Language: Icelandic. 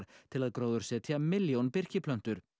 til að gróðursetja milljón birkiplöntur